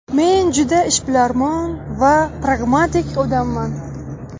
Men juda ishbilarmon va pragmatik odamman.